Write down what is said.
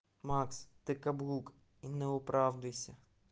макс ты каблук и не оправдывайся